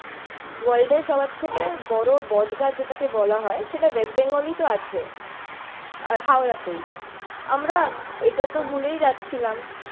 ওয়ার্ল্ডের সবার থেকে বড়ো বট গাছ যেটাকে বলা হয় সেটা ওয়েস্ট বেঙ্গলেই তো আছে। হাওড়াতেই। আমরা এটাতো ভুলেই যাচ্ছিলাম।